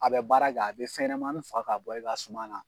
A be baara kɛ a be fɛn ɲɛnɛmani faa ka bɔ e ka suma na